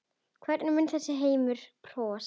Hvernig mun þessi heimur þróast?